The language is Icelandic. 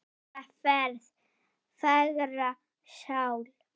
Góða ferð, fagra sál.